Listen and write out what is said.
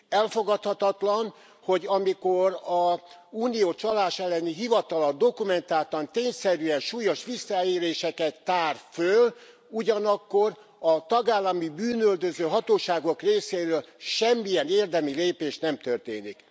Elfogadhatatlan, hogy amikor az Unió csaláselleni hivatala dokumentáltan, tényszerűen súlyos visszaéléseket tárt föl, ugyanakkor a tagállami bűnüldöző hatóságok részéről semmilyen érdemi lépést nem történik.